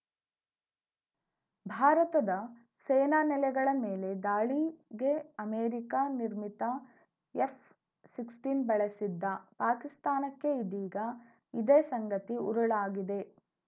ಭಾರತದ ಸೇನಾ ನೆಲೆಗಳ ಮೇಲೆ ದಾಳಿಗೆ ಅಮೆರಿಕ ನಿರ್ಮಿತ ಎಫ್‌ಸಿಕ್ ಸ್ಟಿನ್ ಬಳಸಿದ್ದ ಪಾಕಿಸ್ತಾನಕ್ಕೆ ಇದೀಗ ಇದೇ ಸಂಗತಿ ಉರುಳಾಗಿದೆ